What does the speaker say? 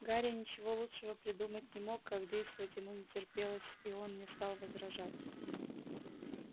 гарри ничего лучшего придумать не мог как действовать ему не терпелось и он не стал возражать